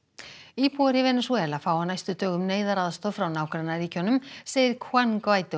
íbúar í Venesúela fá á næstu dögum neyðaraðstoð frá nágrannaríkjunum segir Juan